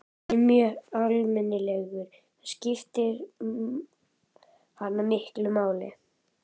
En hann er mjög almennilegur, það skiptir hana miklu máli.